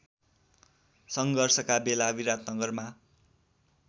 सङ्घर्षका बेला विराटनगरमा